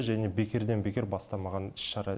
және бекерден бекер бастамаған іс шара